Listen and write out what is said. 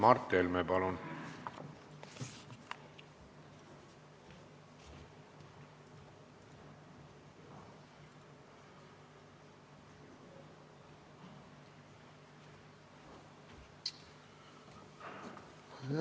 Mart Helme, palun!